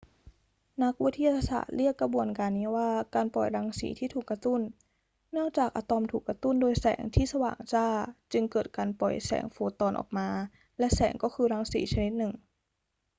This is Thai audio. นักวิทยาศาสตร์เรียกกระบวนการนี้ว่า การปล่อยรังสีที่ถูกกระตุ้น เนื่องจากอะตอมถูกกระตุ้นโดยแสงที่สว่างจ้า จึงเกิดการปล่อยแสงโฟตอนออกมา และแสงก็คือรังสีชนิดหนึ่ง